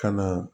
Ka na